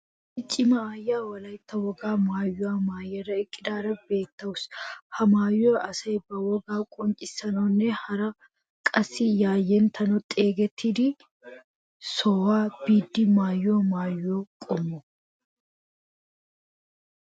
Issi cima aayiya wolaytta wogaa maayuwa maayada eqqidaara beettawusu. Ha maayoy asay ba wogaa qonccissanawunne hara qassi yayinnetidi xeegettido sohuwa biiddi maayiyo maayo qommo.